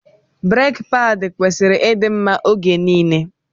Breki paadi kwesịrị ịdị mma oge nile.